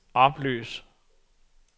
oplys